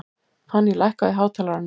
Fanný, lækkaðu í hátalaranum.